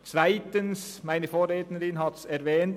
Zweitens: Meine Vorrednerin hat es erwähnt.